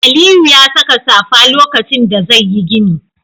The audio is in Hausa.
Aliyu ya saka safa lokacin da zai yi gini.